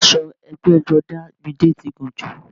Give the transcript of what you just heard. Aṣọ ẹgbẹ́jọdá Midé ti gùn jù